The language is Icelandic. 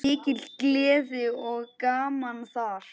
Mikil gleði og gaman þar.